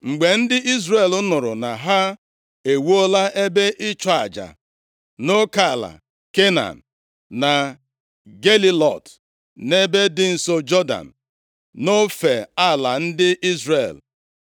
Mgbe ndị Izrel nụrụ na ha e wuola ebe ịchụ aja nʼoke ala Kenan, na Gelilọt, nʼebe dị nso Jọdan, nʼofe ala ndị Izrel,